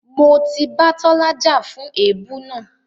Mo ti bá Tọ́lá jà fún èébú náà.